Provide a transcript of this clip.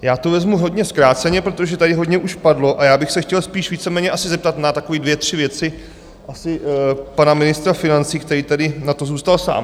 Já to vezmu hodně zkráceně, protože tady hodně už padlo, a já bych se chtěl spíš víceméně asi zeptat na takové dvě tři věci asi pana ministra financí, který tady na to zůstal sám.